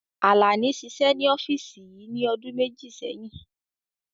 Àlàní ṣiṣẹ́ ní ọ́físì yìí ní ọdún méjì sẹ́yìn